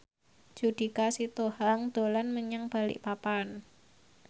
Judika Sitohang dolan menyang Balikpapan